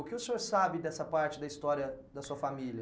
O que o senhor sabe dessa parte da história da sua família?